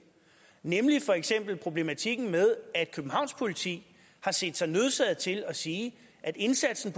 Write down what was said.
nemlig for eksempel problematikken med at københavns politi har set sig nødsaget til at sige at indsatsen